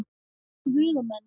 Guð og menn.